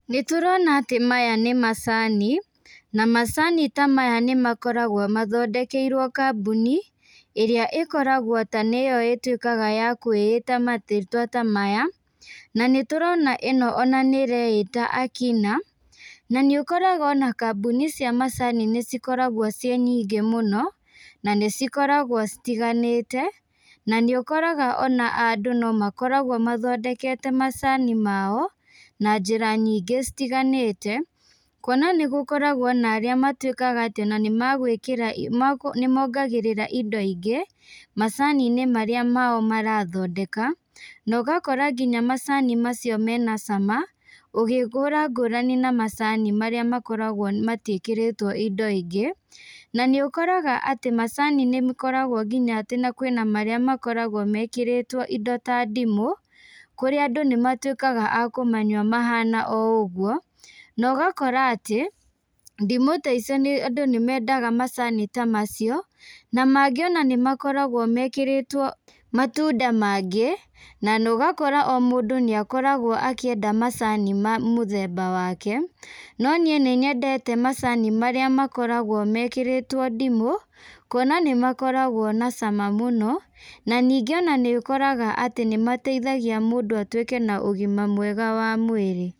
Nĩtũrona atĩ maya nĩmacani, na macani ta maya nĩmakoragwo mathondekeirwo kambũni, ĩrĩa ĩkoragwo ta nĩyo ĩtuĩkaga ya kwĩita marĩtwa ta maya, na nĩtũrona ĩno ona nĩreĩta Akina, na nĩũkoraga ona kambuni cia macani nĩcikoragwo ciĩ nyingĩ mũno, na nĩcikoragwo citiganĩte, na nĩũkoraga ona andũ nomakoragwo mathondekete macani mao, na njĩra nyingĩ citiganĩte, kuona nĩgũkoragwo na arĩa matuĩkaga atĩ ona nĩmagwĩkĩra nĩmongagĩrĩra indo ingĩ, macaninĩ marĩa mao marathondeka, na ũgakora nginya macani macio mena cama, ũgĩkũra ngũrani na macani marĩa makoragwo matiĩkĩrĩtwo indo ingĩ, na nĩũkoraga atĩ macani nĩmakoragwo nginya atĩ kwĩna marĩa makoragwo mekĩrĩtwo indo ta ndimũ, kũrĩa andũ nĩmatuĩkaga a kũmanyua mahana o ũguo, na ũgakora atĩ, ndimũ ta icio andũ nĩmendaga macani ta macio, na mangĩ ona nĩmakoragwo mekĩrĩtwo matunda mangĩ, na ũgakora o mũndũ nĩakoragwo akĩenda macani ma mũthemba wake, no niĩ nĩnyendete macani marĩa makoragwo mekĩrĩtwo ndimũ, kuona nĩmakoragwo na cama mũno, na ningĩ ona nĩũkoraga atĩ nĩmateithagia mũndũ atuĩke na ũgima mwega wa mwĩrĩ.